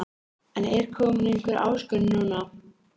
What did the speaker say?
En er komin einhver áskorun núna?